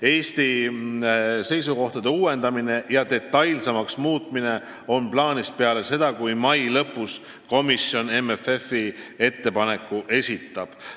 Eesti seisukohtade uuendamine ja detailsemaks muutmine on plaanis peale seda, kui komisjon mai lõpus MFF-i ettepaneku esitab.